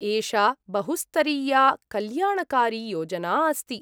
एषा बहुस्तरीया कल्याणकारियोजना अस्ति।